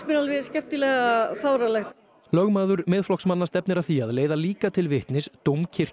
mér alveg skemmtilega fáránlegt lögmaður Miðflokksmanna stefnir að því að leiða líka til vitnis